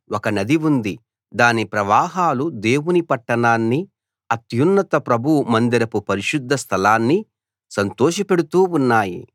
ఒక నది ఉంది దాని ప్రవాహాలు దేవుని పట్టణాన్ని అత్యున్నత ప్రభువు మందిరపు పరిశుద్ధ స్థలాన్ని సంతోషపెడుతూ ఉన్నాయి